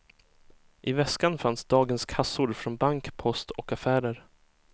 I väskan fanns dagens kassor från bank, post och affärer.